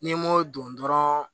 N'i m'o don dɔrɔnw